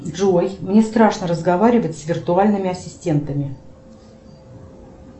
джой мне страшно разговаривать с виртуальными ассистентами